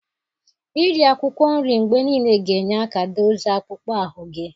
Iri akwụkwọ nri mgbe niile ga-enye aka dozie akpụkpọ ahụ gị.